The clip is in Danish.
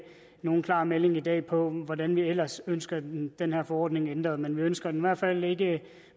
nogen klar melding i dag om hvordan vi ellers ønsker den den her forordning ændret men vi ønsker den i hvert fald ikke